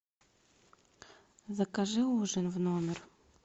закажи ужин в номер